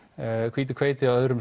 hvítu hveiti og öðrum